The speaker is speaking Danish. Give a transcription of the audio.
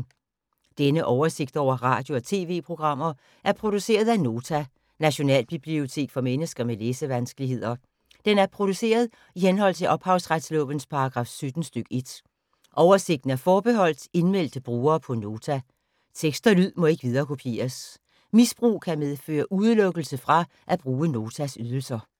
Denne oversigt over radio og TV-programmer er produceret af Nota, Nationalbibliotek for mennesker med læsevanskeligheder. Den er produceret i henhold til ophavsretslovens paragraf 17 stk. 1. Oversigten er forbeholdt indmeldte brugere på Nota. Tekst og lyd må ikke viderekopieres. Misbrug kan medføre udelukkelse fra at bruge Notas ydelser.